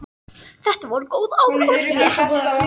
Þetta voru góð ár og rétt.